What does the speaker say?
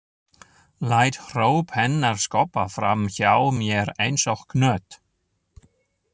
Læt hróp hennar skoppa fram hjá mér einsog knött.